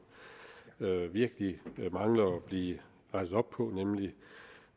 der virkelig mangler at blive rettet op på nemlig